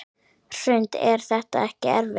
Hrund: Er þetta ekkert erfitt?